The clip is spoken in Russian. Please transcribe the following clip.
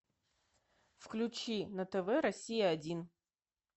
включи на тв россия один